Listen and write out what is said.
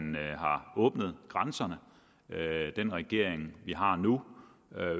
åbnet grænserne den regering vi har nu